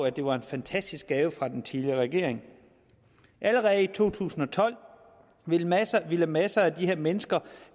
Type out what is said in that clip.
at det var en fantastisk gave fra den tidligere regering allerede i to tusind og tolv ville masser ville masser af de her mennesker